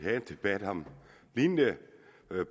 debat om et lignende